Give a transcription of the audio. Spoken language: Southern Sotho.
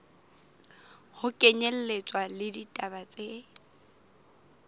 ho kenyelletswa le ditaba tse